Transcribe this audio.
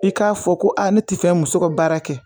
I k'a fɔ ko a ne ti fɛ muso ka baara kɛ